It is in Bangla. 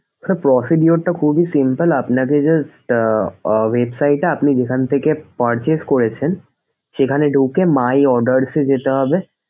sir procedure টা খুবই simple আপনাকে just আহ website এ আপনি যেখান থেকে purchase করেছেন সেখানে ঢুকে my orders এ যেতে হবে।